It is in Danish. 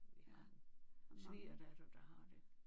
Jeg har en svigerdatter der har det